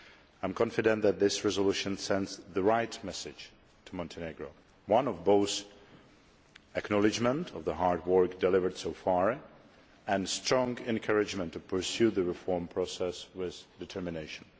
I am confident that this resolution sends the right message to Montenegro one of both acknowledgement of the hard work delivered so far and strong encouragement to pursue the reform process with determination.